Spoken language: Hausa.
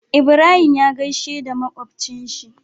Ibrahim ya gaishe da makocin shi